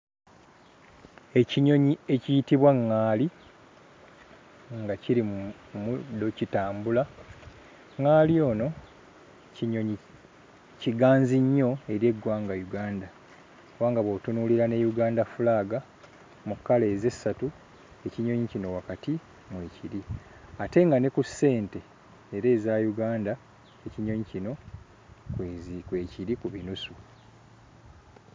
Ekinyonyi ekiyitibwa ŋŋaali nga kiri mu muddo kitambula. ŋŋaali ono kinyonyi kiganzi nnyo eri eggwanga Uganda kubanga bw'otunuulira ne Uganda flag mu kkala ezo essatu ekinyonyi kino wakati mwekiri ate nga ne ku ssente era eza Uganda ekinyonyi kino kwezi kwekiri ku binusu.